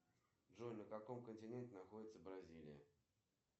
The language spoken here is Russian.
кинография актера гоши куценко